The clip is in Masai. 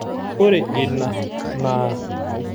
Ore ina naa